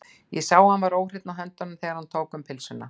Ég sá að hann var óhreinn á höndunum, þegar hann tók um pylsuna.